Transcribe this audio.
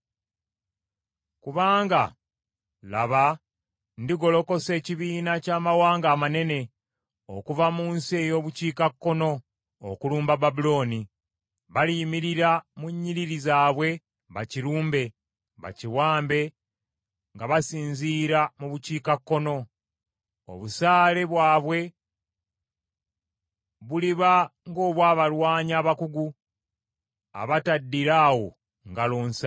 Kubanga, laba, ndigolokosa ekibiina ky’amawanga amanene okuva mu nsi ey’obukiikakkono okulumba Babulooni. Baliyimirira mu nnyiriri zaabwe bakirumbe, bakiwambe nga basinzira mu bukiikakkono. Obusaale bwabwe buliba ng’obw’abalwanyi abakugu, abataddira awo ngalo nsa.